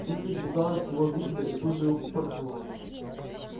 птица испугалась его визга и тут же упырхнула